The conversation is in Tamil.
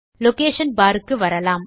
லொகேஷன் பார் க்கு வரலாம்